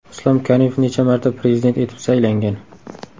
Islom Karimov necha marta Prezident etib saylangan?